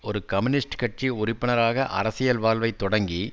ஒரு கம்யூனிஸ்ட் கட்சி உறுப்பினராக அரசியல் வாழ்வை தொடங்கி